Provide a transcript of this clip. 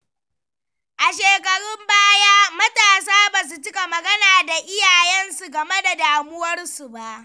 A shekarun baya, matasa ba su cika magana da iyayensu game da damuwarsu ba.